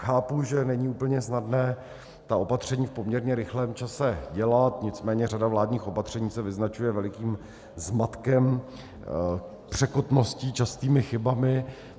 Chápu, že není úplně snadné ta opatření v poměrně rychlém čase dělat, nicméně řada vládních opatření se vyznačuje velikým zmatkem, překotností, častými chybami.